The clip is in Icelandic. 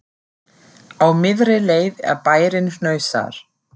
Á miðri leið er bærinn Hnausar.